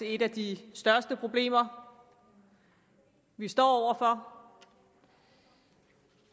et af de største problemer vi står over for